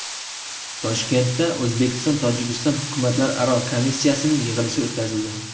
Toshkentda O‘zbekistonTojikiston hukumatlararo komissiyasining yig‘ilishi o‘tkazildi.